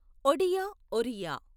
Odia Oriya